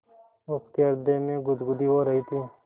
उसके हृदय में गुदगुदी हो रही थी